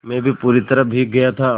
मैं भी पूरी तरह भीग गया था